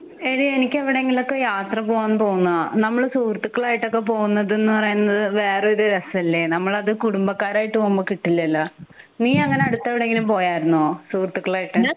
എടി എനിക്ക് എവിടെങ്കിലും ഒക്കെ യാത്ര പോവാൻ തോന്നാ നമ്മൾ സുഹൃത്തുക്കളായിട്ട് ഒക്കെ പോവുന്നത് എന്ന് പറയുന്നത് വേറൊരു രസല്ലേ നമ്മളത് കുടുംബക്കാരായിട്ട് പൊമ്പോ കിട്ടില്ലലോ. നിയങ്ങിനെ അടുത്ത് എവിടേലും പോയർന്നോ സുഹൃത്തുക്കളായിട്ട്